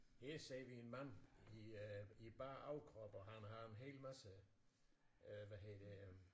Her ser vi en mand i øh i bar overkrop og han har en hel masse øh hvad hedder det øh